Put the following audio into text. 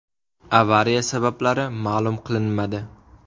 Avariya sabablari ma’lum qilinmadi.